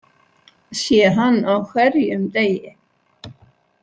Sé hann á hverjum degi.